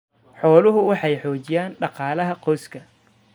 Xooluhu waxay xoojiyaan dhaqaalaha qoyska.